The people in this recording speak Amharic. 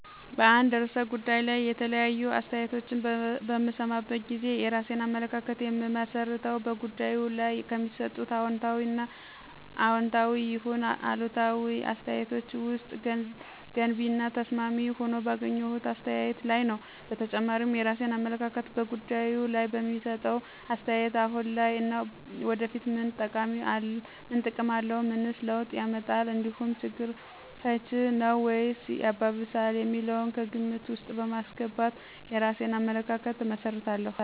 በአንድ ርዕሰ ጉዳይ ላይ የተለያዩ አስተያየቶችን በምሰማበት ጊዜ የራሴን አመለካከት የምመሰርተው በጉዳዩ ላይ ከሚሰጡት አዎንታዊ ይሁን አሉታዊ አስተያየቶች ውስጥ ገንቢ እና ተስማሚ ሆኖ ባገኘሁት አስተያየት ላይ ነዉ። በተጨማሪም የራሴን አመለካከት በጉዳዩ ላይ በሚሰጠው አስተያየት አሁን ላይ እና ወደፊት ምን ጠቀሜታ አለው፣ ምንስ ለውጥ ያመጣል እንዲሁም ችግር ፈች ነዉ ወይስ ሚያባብስ የሚለውን ከግምት ውስጥ በማስገባት የራሴን አመለካከት እመሰርታለሁ።